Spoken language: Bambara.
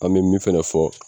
An be min fɛnɛ fɔ